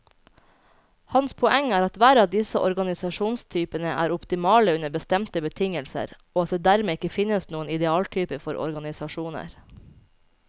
Hans poeng er at hver av disse organisasjonstypene er optimale under bestemte betingelser, og at det dermed ikke finnes noen idealtype for organisasjoner.